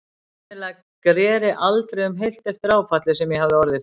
Sennilega greri aldrei um heilt eftir áfallið sem ég hafði orðið fyrir.